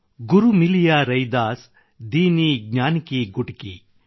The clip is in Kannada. ಗುರು ಮಿಲಿಯಾ ರೈದಾಸ್ ದೀನ್ಹಿ ಜ್ಞಾನ ಕಿ ಗುಟಕಿ